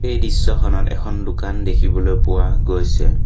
এই দৃশ্যখনত এখন দোকান দেখিবলৈ পোৱা গৈছে।